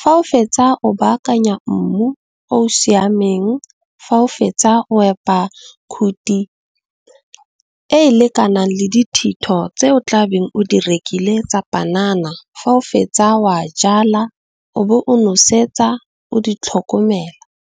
Fa o fetsa o baakanya mmu o o siameng, fa o fetsa wa epa khuthi e e lekanang le dithito tse o tlabe o di rekile tsa panana, fa o fetsa o a jala o bo o nosetsa o di tlhokomela.